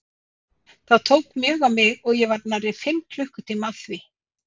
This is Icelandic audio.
Það tók mjög á mig og ég var nærri fimm klukkutíma að því.